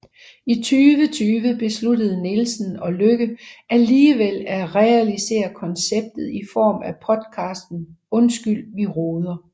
I 2020 besluttede Nielsen og Lykke alligevel at realisere konceptet i form af podcasten Undskyld vi roder